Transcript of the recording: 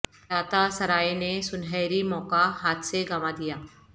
گلاتا سرائے نے سنہری موقع ہاتھ سے گنوا دیا